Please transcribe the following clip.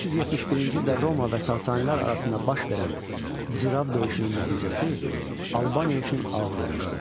371-ci ildə Roma və Sasanilər arasında baş verən Zirav döyüşünün nəticəsi Albaniya üçün ağır olmuşdu.